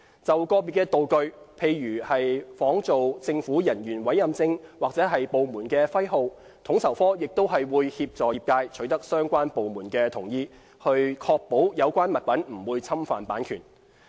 就個別的道具，例如仿造政府人員委任證或部門徽號，統籌科亦會協助業界取得相關部門的同意，以確保有關物品不會侵犯版權。